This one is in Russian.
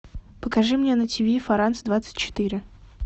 покажи мне на тиви франс двадцать четыре